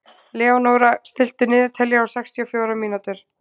Leónóra, stilltu niðurteljara á sextíu og fjórar mínútur.